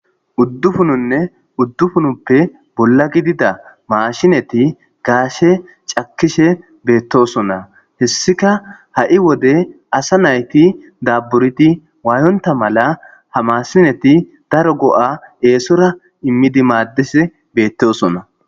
uddufununne uddufunuppe bolla gidida maashineti gaashe cakkishe beettosonna hessika ha7i wode asa nayti dabburidi waayonta mala hamasineti daro go7a eesora immidi maaddise beettosonna